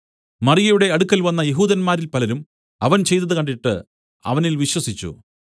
മറിയയുടെ അടുക്കൽ വന്ന യെഹൂദന്മാരിൽ പലരും അവൻ ചെയ്തതു കണ്ടിട്ട് അവനിൽ വിശ്വസിച്ചു